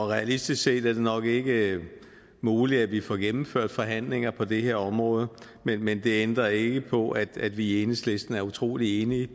realistisk set nok ikke er muligt at vi får gennemført forhandlinger på det her område men det ændrer ikke på at vi i enhedslisten er utrolig enige